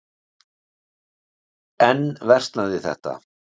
Enn versnaði þetta.